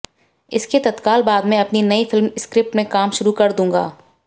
इसके तत्काल बाद मैं अपनी नयी फिल्म स्क्रिप्ट में काम शुरू कर दूंगा